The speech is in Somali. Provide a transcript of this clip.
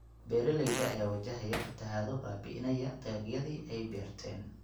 Beeraleyda ayaa wajahaya fatahaado baabi�inaya dalagyadii ay beerteen.